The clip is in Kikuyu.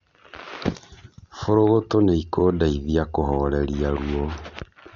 Bũrũgũtu nîikundeithia kũhoreria ruo.